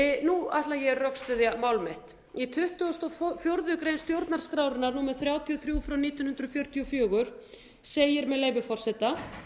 nú ætla ég að rökstyðja mál mitt í tuttugasta og fjórðu grein stjórnarskrárinnar númer þrjátíu og þrjú nítján hundruð fjörutíu og fjögur segir með leyfi forseta